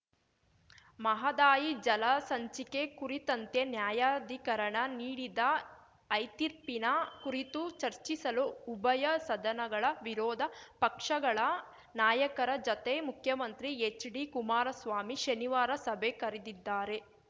ಮಹದಾಯಿ ಜಲ ಸಂಚಿಕೆ ಕುರಿತಂತೆ ನ್ಯಾಯಾಧಿಕರಣ ನೀಡಿದ ಐತೀರ್ಪಿನ ಕುರಿತು ಚರ್ಚಿಸಲು ಉಭಯ ಸದನಗಳ ವಿರೋಧ ಪಕ್ಷಗಳ ನಾಯಕರ ಜತೆ ಮುಖ್ಯಮಂತ್ರಿ ಎಚ್‌ಡಿಕುಮಾರಸ್ವಾಮಿ ಶನಿವಾರ ಸಭೆ ಕರೆದಿದ್ದಾರೆ